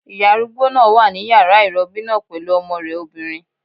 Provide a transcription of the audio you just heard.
Ìyá arúgbó náà wà ní yàrá ìrọbí náà pẹ̀lú ọmọ rẹ̀ obìnrin